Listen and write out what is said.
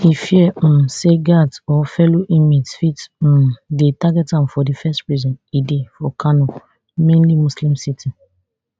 e fear um say guards or fellow inmates fit um dey target am for di first prison e dey for kano mainly muslim city